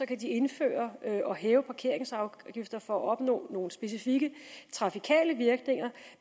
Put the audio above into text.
kan indføre og hæve parkeringsafgifter for at opnå nogle specifikke trafikale virkninger